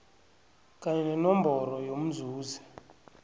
kanye nenomboro yomzuzi